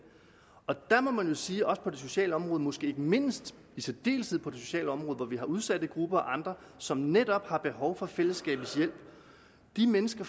og der må man jo sige også på det sociale område og måske ikke mindst i særdeleshed på det sociale område hvor vi har udsatte grupper og andre som netop har behov for fællesskabets hjælp at de mennesker